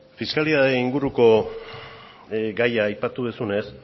fiskalitatearen inguruko gaia aipatu duzunez